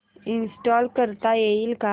install करता येईल का